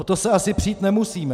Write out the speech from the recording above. O to se asi přít nemusíme.